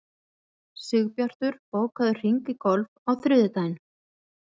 Sigbjartur, bókaðu hring í golf á þriðjudaginn.